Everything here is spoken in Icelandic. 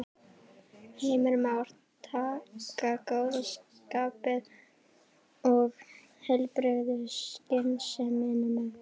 Heimir Már: Taka góða skapið og heilbrigðu skynsemina með?